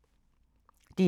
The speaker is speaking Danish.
DR1